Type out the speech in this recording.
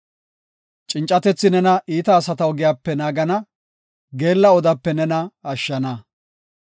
Cincatethi nena iita asata ogiyape naagana; geella odape nena ashshana.